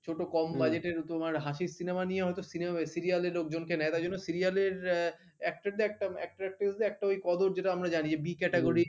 ছোট কম budget র ওই তোমার হাসির cinema নিয়ে হয়তো cinema serial লে লোকজনকে নেয় তাই জন্য actor actress দের একটা ওই কদর যেটা আমরা জানি b category র